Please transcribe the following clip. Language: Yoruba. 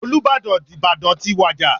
Olúbàdàn Ìbàdàn ti wàjà.